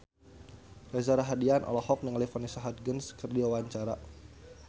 Reza Rahardian olohok ningali Vanessa Hudgens keur diwawancara